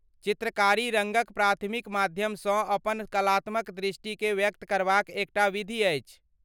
चित्रकारी रङ्गक प्राथमिक माध्यमसँ अपन कलात्मक दृष्टिकेँ व्यक्त करबाक एकटा विधि अछि।